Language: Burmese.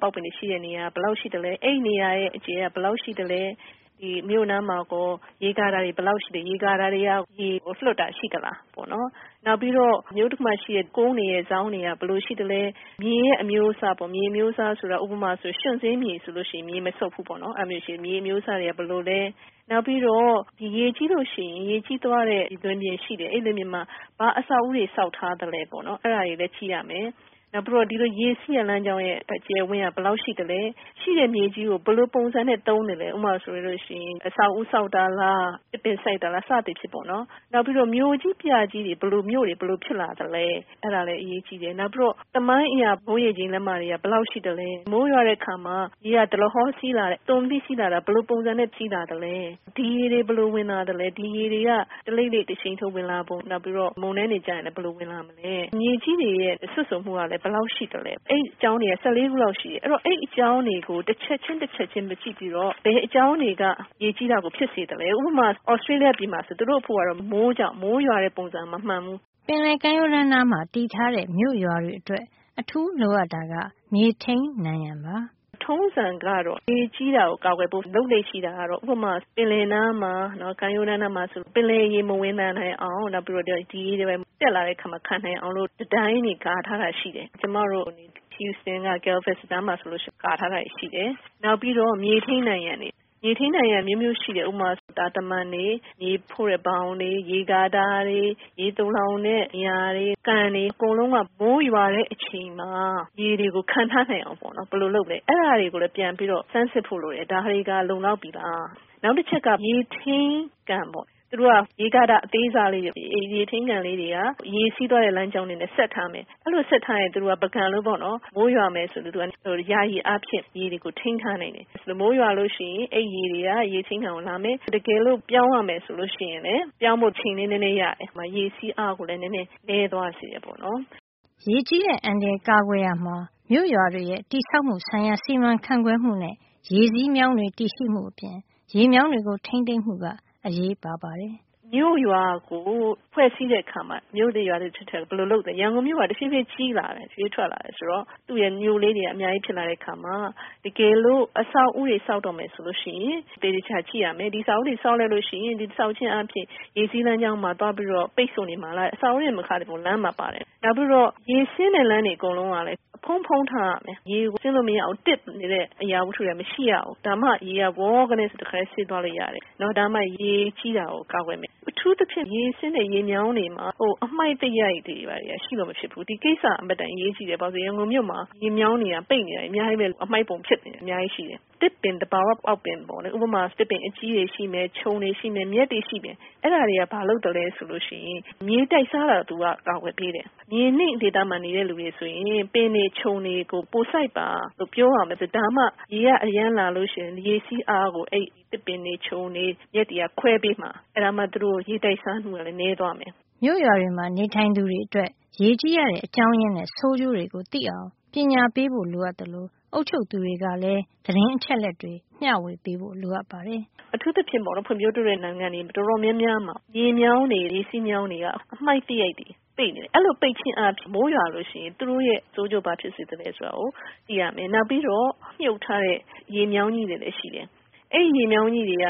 ပေါက်ပင်တွေ ရှိတဲ့ နေရာ ဘယ်လောက် ရှိသလဲ။ အဲဒီနေရာရဲ့ အကျယ်က ဘယ်လောက် ရှိသလဲ။ ဒီမြို့နားမှာကော ရေကာတာတွေ ဘယ်လောက် ရှိသလဲ၊ ရေကာတာတွေ ရေလွှတ်တာ ရှိသလား၊ နောက်တခုက အဲဒီမြို့ရဲ့ ကုန်းတွေ စောင်းတွေ ဘယ်လို ရှိသလဲ။ နောက် မြေအမျိုးအစားပေါ့။ ဥပမာ ရွံ့စေးမြေဆိုရင် ရေမစုပ်ဘူးပေါ့နော်။ အဲဒီလိုမျိုး မြေအမျိုးအစားတွေက ဘယ်လိုလဲ။” “ပြီးတော့ ရေကြီးလို့ရှိရင် ရေကြီးသွားတဲ့ လွင်ပြင်ရှိတယ်။ အဲဒီ လွင်ပြင်မှာ ဘာအဆောက်အဦးတွေ ဆောက်ထား သလဲပေါ့ အဲဒါကိုလည်း ကြည့်ရပါတယ်။ နောက်ပြီး ဒီလိုရေစီးတဲ့ လမ်းကြောင်းရဲ့ အကျယ်အဝန်းက ဘယ်လောက်ရှိသလဲ၊ ရှိတဲ့ မြေကြီးကို ဘယ်လိုပုံစံနဲ့ သုံးသလဲ။ ဥပမာဆိုရင် အဆောက်အဦး ဆောက်တာလား၊ သစ်ပင်စိုက်တာလား၊ စသဖြင့် ပေါ့နော်။ နောက် မြို့ကြီးပြကြီး အတွက် ဘယ်လို မြို့တွေ ဖြစ်လာ သလဲ၊ အဲဒါလည်း အရေးကြီးတယ်။ နောက် ပြီးတော့ သမိုင်းအရ မိုးရေချိန် လက်မတွေက ဘယ်လောက် ရှိသလဲ၊ မိုးရွာတဲ့ အခါမှာ ရေက ဒလဟော စီးပြီးလာသလား၊ စီးလာတာဟာ ဘယ်လို ပုံစံနဲ့ စီးလာသလဲ။ ဒီရေတွေ ဘယ်လို ဝင်လာသလဲ၊ ဒီရေတွေက တလိမ့်လိမ့် တရှိန်ထိုးလား၊ နောက် မုန်တိုင်းတွေ ကျရင် ဘယ်လို ဝင်လာ သလဲ။ မြေကြီးတွေရဲ့ စွတ်စိုမှုက ဘယ်လောက် ရှိသလဲ။” “အဲဒီလို ကြည့်ရတဲ့ အကြောင်းတွေက ၁၄ ချက်လောက် ရှိတယ်။ အဲဒီအကြောင်းတွေကို တချက်ချင်း စီ ကြည့်ပြီးတော့ ဘယ်အကြောင်းတွေက ရေကြီးတာကို ဖြစ်စေသလဲ၊ ဥပမာ သြစတေးလီးယား နိုင်ငံမှာဆို သူတို့ ရေကြီးတာက မိုးကြောင့်။ မိုးရွာတဲ့ ပုံစံ မမှန်ဘူး။” “ထုံးစံကတော့ ရေကြီးတာကို ကာကွယ်ဖို့ လုပ်လေ့ ရှိတာကတော့၊ ဥပမာ ပင်လယ်နားမှာ ကမ်းရိုးတန်းနားမှာ ရှိမယ် ဆိုရင် ပင်လယ်ရေ မဝင်နိုင်အောင်၊ နောက် ရေတွေ ဘာတွေ တက်လာရင် ခံနိုင်အောင်လို့ တံတိုင်းတွေ ကာရံထားတာ ရှိတယ်။ ကျမတို့ Houston မှာ ဆိုရင် ကာထားတာတွေ ရှိတယ်။ နောက်ပြီး မြေထိန်း နံရံတွေ၊ မြေထိန်းနံရံက အမျိုးမျိုး ရှိတယ်။ ဥပမာဆို တာတမံတွေ၊ မြေဖို့တဲ့ ဘောင်တွေ၊ ရေကာတာတွေ၊ ရေသိုလှောင်တဲ့ နေရာတွေ၊ ကန်တွေ၊ အကုန်လုံးက မိုးရွာတဲ့ အချိန်မှာ ရေတွေကို ခံထားနိုင်အောင်ပေါ့နော်။ ဘယ်လိုလုပ်မလဲ။ အဲဒါတွေကို ပြန်ပြီး ဆန်းစစ်ဖို့ လိုပါတယ်။” “နောက်တခုက မြေထိန်းကန်ပေါ့။ သူတို့က ရေကာတာ အသေးစားလေးတွေ။ အဲဒီရေထိန်းကန် ကလေးတွေက ရေစီးသွားတဲ့ လမ်းကြောင်းကို ဆက်ထားမယ်။ အဲဒီလို ဆက်ထားရင် သူတို့က ပန်းကန် လိုပေါ့နော်။ မိုးရွာမယ် ဆိုရင် ယာယီအားဖြင့် ရေကို ထိန်းထား နိုင်မယ်။ မိုးရွာလို့ ရှိရင် ရေတွေက အဲဒီ ရေထိန်းကန်ကို လာမယ်။ တကယ်လို့ ပြောင်းဖို့ ရွေ့ဖို့ လုပ်ရမယ် ဆိုလို့ ရှိရင် သူတို့ကြောင့် ပြောင်းဖို့ အချိန်လေး နဲနဲ ရတယ်။ နောက်ပြီး ရေစီးအား ကိုလည်း နဲနဲ နဲသွားစေတယ်။” “မြို့ရွာကို ဖွဲ့စည်းတဲ့ အခါမှာ မြို့သစ်ရွာသစ် တွေအတွက် ဘယ်လို လုပ်မလဲ။ ရန်ကုန်မြို့က တဖြေးဖြေး ကြီးလာတယ်။ ဘေးထွက်လာတယ် ဆိုတော့ သူ့ရဲ့ မြို့လေးတွေက အများကြီး ဖြစ်လာတဲ့ အခါမှာ တကယ်လို့ အဆောက်အဦးတွေ ဆောက်တော့မယ် ဆိုလို့ ရှိရင် သေချာကြည့်ရမယ်။ ဒီအဆောက်အဦးတွေ ဆောက်လိုက်လို့ ရှိရင် ဒီလို တည်ဆောက်ခြင်း အားဖြင့် ရေစီးလမ်းကြောင်းမှာ သွားပြီးတော့ ပိတ်ဆို့ နေမှာလား၊ ဒီလို အဆောက်အဦးတွေ တင်မကဘူး။ လမ်းပါပါတယ်။ နောက်ပြီးတော့ ရေဆင်းတဲ့ လမ်းတွေ အကုန်လုံးကလည်း အဖုံးဖုံး ထားရမယ်။ ရေဆင်းလို့ မရအောင် တစ်နေတဲ့ အရာ မရှိရဘူး။ ဒါမှ ရေက ဝေါကနဲ တခါထဲ ဆင်းသွားလို့ ရမယ်။ ဒါမှ ရေကြီးတာကို ကာကွယ်မယ်။” “အထူူးသဖြင့် ရေဆင်းတဲ့ ရေမြောင်းတွေမှာ အမှိုက်သရိုက်တွေက ရှိလို့ မဖြစ်ဘူး။ ဒီကိစ္စက အင်မတန် အရေးကြီးတယ်။ ဘာလို့လည်း ဆိုရင် ရန်ကုန်မြို့မှာ ရေမြောင်းတွေက ပိတ်နေတာ အများကြီးပဲ။ အမှိုက်ပုံ ဖြစ်နေတာက အများကြီးပဲ ရှိတယ်။ သစ်ပင် သဘာဝ ပေါက်ပင် ပေါ့လေ။ ဥပမာ သစ်ပင် အကြီးကြီးတွေ ရှိမယ်။ ခြုံတွေ ရှိမယ်။ မြက်တွေ ရှိမယ်။ အဲဒါတွေက ဘာလုပ် သလဲ ဆိုရင် ရေတိုက်စားတာကို ကာကွယ်ပေးတယ်။ မြေနိမ့် ဒေသမှာ နေတဲ့ သူတွေ ဆိုရင် အပင်တွေ ခြုံတွေကို ပိုစိုက်ပါ လို့ ပြောရမယ်။ ဒါမှ ရေက အရမ်းလာလို့ ရှိရင် ရေစီးအားကို အဲဒီ သစ်ပင်တွေ ခြုံပင်တွေ၊ မြက်တွေက ခွဲပေးမှာ။ အဲဒါမှ သူတို့ ရေတိုက်စားနှုန်း နဲသွားမယ်။” “အထူးသဖြင့် ဖွံ့ဖြိုးတိုးတက်တဲ့ နိုင်ငံတွေ တော်တော် များများမှာ ရေမြောင်းတွေ၊ ရေစီးမြောင်းတွေက အမှိုက်သရိုက်တွေ ပိတ်တယ်။ အဲဒီလို ပိတ်ခြင်းအားဖြင့် မိုးရွာရင် သူတို့အတွက် ဆိုးကျိုး ဘာဖြစ်တယ် ဆိုတာ သိရမယ်။ နောက်ပြီးတော့ မြှုပ်ထားတဲ့ ရေမြောင်းကြီးတွေလည်း ရှိတယ်။ အဲဒီ ရေမြောင်းကြီးတွေက